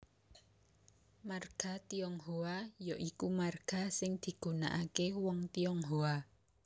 Marga Tionghoa ya iku marga sing digunakaké wong Tionghoa